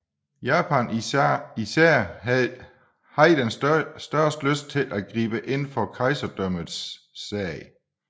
Japan især havde den største lyst til at gribe ind for kejserdømmets sag